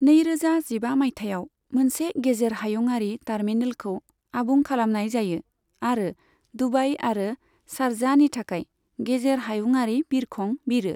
नैरोजा जिबा माइथायाव मोनसे गेजेर हायुंआरि टार्मिनेलखौ आबुं खालामनाय जायो आरो दुबाई आरो शारजाहनि थाखाय गेजेर हायुंआरि बिरखं बिरो।